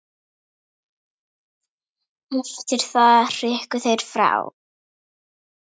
Eftir það hrukku þeir frá.